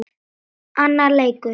Annar leikur